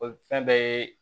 fɛn dɔ ye